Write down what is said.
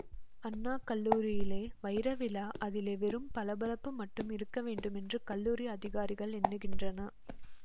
அண்ணா கல்லூரியிலே வைரவிழா அதிலே வெறும் பளபளப்பு மட்டும் இருக்க வேண்டுமென்று கல்லூரி அதிகாரிகள் எண்ணுகின்றனர்